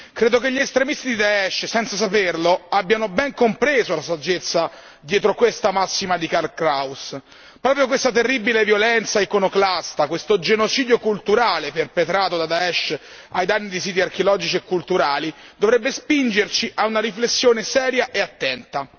Credo che gli estremisti di Daesh senza saperlo abbiamo ben compreso la saggezza dietro questa massima di Karl Kraus. Proprio questa terribile violenza iconoclasta, questo genocidio culturale perpetrato da Daesh ai danni di siti archeologici e culturali dovrebbe spingerci a una riflessione seria e attenta.